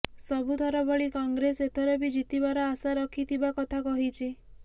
ସବୁଥର ଭଳି କଂଗ୍ରେସ ଏଥର ବି ଜିତିବାର ଆଶା ରଖିଥିବା କଥା କହିଛି